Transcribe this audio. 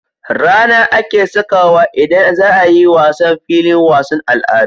RAna ake sakawa idan zaayi wasan a filin wasan al'adu